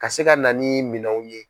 Ka se ka na ni minɛnw ye.